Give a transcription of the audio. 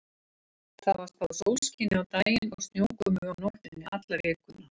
Það var spáð sólskini á daginn og snjókomu á nóttunni alla vikuna.